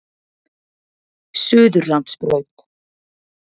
Suðurlandsbraut